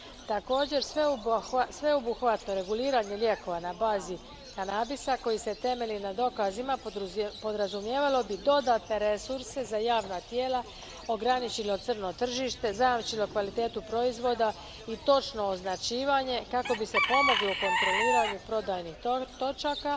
Također, sveobuhvatno reguliranje lijekova na bazi kanabisa koji se temelji na dokazima podrazumijevalo bi dodatne resurse za javna tijela, ograničilo crno tržište, zajamčilo kvalitetu proizvoda i točno označivanje kako bi se pomoglo kontroliranju prodajnih točaka,